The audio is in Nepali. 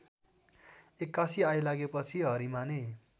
एक्कासि आइलागेपछि हरिमाने